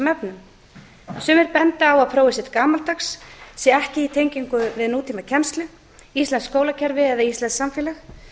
efnum sumir benda á að prófið sé gamaldags sé ekki í tengingu við nútíma kennslu íslenskt skólakerfi eða íslenskt samfélag